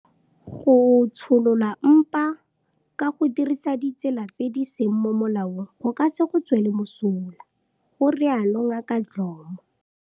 Go tsholola mpa ka go dirisa ditsela tse di seng mo molaong go ka se go tswele mosola, ga rialo Ngaka Dhlomo.